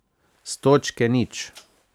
S točke nič.